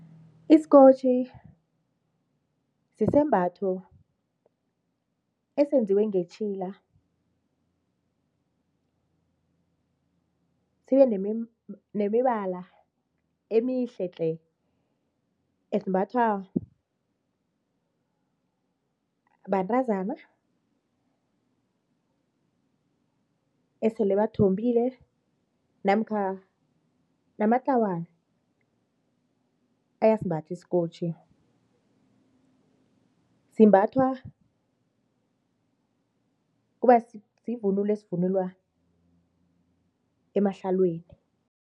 Isikotjhi sisembatho esenziwe ngetjhila sibenemibala emihle-tle esimbathwa bantazana esele bathombile namkha namatlawana asimbatha isikotjhi, simbathwa kuba sivunulo esivunulwa emahlalweni.